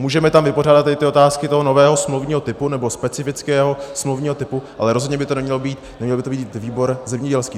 Můžeme tam vypořádat i ty otázky toho nového smluvního typu nebo specifického smluvního typu, ale rozhodně by to neměl být výbor zemědělský.